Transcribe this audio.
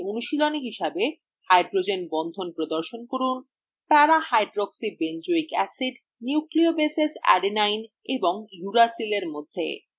একটি অনুশীলনী হিসাবে hydrogen বন্ধন প্রদর্শন করুন